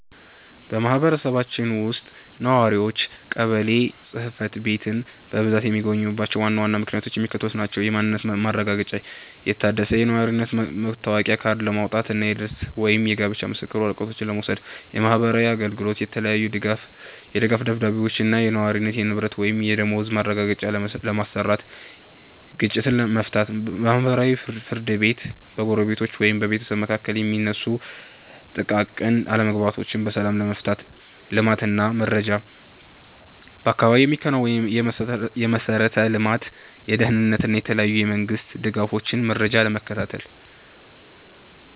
በማህበረሰባችን ውስጥ ነዋሪዎች ቀበሌ ጽሕፈት ቤትን በብዛት የሚጎበኙባቸው ዋና ዋና ምክንያቶች የሚከተሉት ናቸው፦ የማንነት ማረጋገጫ፦ የታደሰ የነዋሪነት መታወቂያ ካርድ ለማውጣት እና የልደት ወይም የጋብቻ ምስክር ወረቀቶችን ለመውሰድ። የማህበራዊ አገልግሎት፦ የተለያየ የድጋፍ ደብዳቤዎችን (የነዋሪነት፣ የንብረት ወይም የደመወዝ ማረጋገጫ) ለማሰራት። ግጭት መፍታት፦ በማህበራዊ ፍርድ ቤት በጎረቤቶች ወይም በቤተሰብ መካከል የሚነሱ ጥቃቅን አለመግባባቶችን በሰላም ለመፍታት። ልማት እና መረጃ፦ በአካባቢው የሚከናወኑ የመሠረተ ልማት፣ የደህንነት እና የተለያዩ የመንግስት ድጋፎችን መረጃ ለመከታተል።